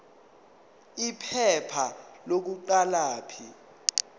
iphepha lokuqala p